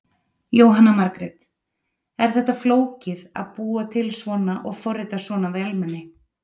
Jóhanna Margrét: Er þetta flókið að búa til svona og forrita svona vélmenni?